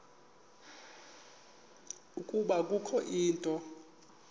ukuba kukho into